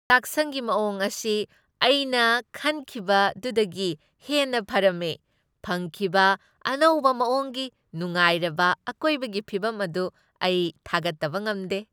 ꯆꯥꯛꯁꯪꯒꯤ ꯑꯅꯧꯕ ꯃꯑꯣꯡ ꯑꯁꯤ ꯑꯩꯅ ꯈꯟꯈꯤꯕꯗꯨꯗꯒꯤ ꯍꯦꯟꯅ ꯐꯔꯝꯃꯦ, ꯐꯪꯈꯤꯕ ꯑꯅꯧꯕ ꯃꯑꯣꯡꯒꯤ ꯅꯨꯡꯉꯥꯏꯔꯕ ꯑꯀꯣꯏꯕꯒꯤ ꯐꯤꯚꯝ ꯑꯗꯨ ꯑꯩ ꯊꯥꯒꯠꯇꯕ ꯉꯝꯗꯦ ꯫